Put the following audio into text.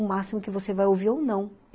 O máximo que você vai ouvir é um não.